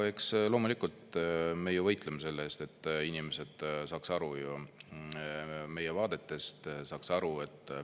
No eks loomulikult meie võitleme selle eest, et inimesed saaks aru ju, meie vaadetest saaks aru.